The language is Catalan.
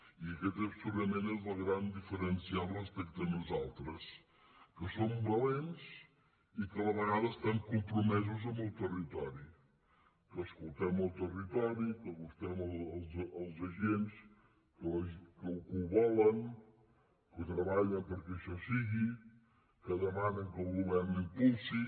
i aquest segurament és el gran diferencial respecte a nosaltres que som valents i que a la vegada estem compromesos amb el territori que escoltem el territo·ri que acostem els agents que ho volen que treballen perquè això sigui que demanen que el govern ho im·pulsi